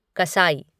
कसाई